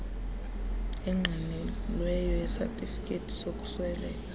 engqinelweyo yesatifiketi sokusweleka